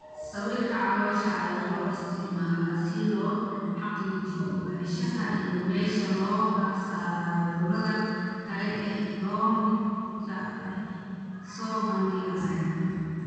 Sawirka caloosha ayaa loo isticmaalaa si loo xaqiijiyo ogaanshaha iyo meesha looga saaro cudurrada kale ee la midka ah ee soo bandhigaya.